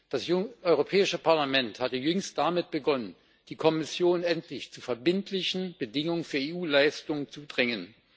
Das Europäische Parlament hatte jüngst damit begonnen, die Kommission endlich zu verbindlichen Bedingungen für EU Leistungen zu drängen.